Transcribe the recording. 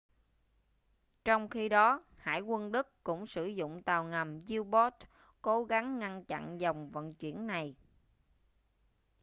trong khi đó hải quân đức cũng sử dụng tàu ngầm u-boat cố gắng ngăn chặn dòng vận chuyển này